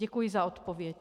Děkuji za odpověď.